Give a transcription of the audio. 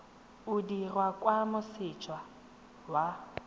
o dirwa kwa moseja wa